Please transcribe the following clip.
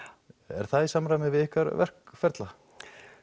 er það í samræmi við ykkar verkferla